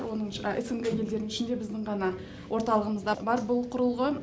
оның снг елдерідің ішінде біздің ғана орталығымызда бар бұл құрылғы